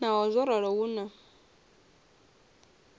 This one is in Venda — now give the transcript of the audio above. naho zwo ralo hu na